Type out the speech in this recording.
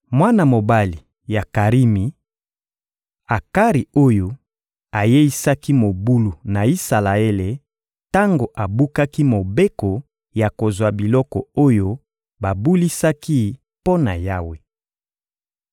Mwana mobali ya Karimi: Akari oyo ayeisaki mobulu na Isalaele tango abukaki mobeko ya kozwa biloko oyo babulisaki mpo na Yawe.